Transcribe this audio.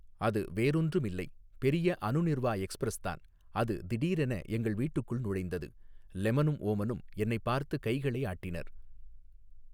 அது வேறொன்றும் இல்லை பெரிய அநுநிர்வா எக்ஸ்பிரஸ் தான் அது திடீரென எங்கள் வீட்டுக்குள் நுழைந்தது லெமனும் ஓமனும் என்னைப் பார்த்து கைகளை ஆட்டினர்.